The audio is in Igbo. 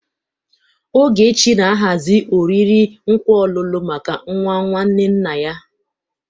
Ogechi na-ahazi oriri nkwa ọlụlụ maka nwa nwanne nna ya.